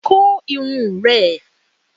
Kó irun ẹ!